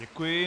Děkuji.